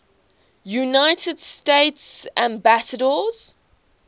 united states ambassadors